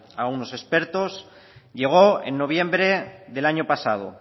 a unos expertos llegó en noviembre del año pasado